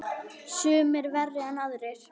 Sumir verri en aðrir.